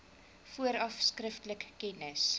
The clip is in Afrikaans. vooraf skriftelik kennis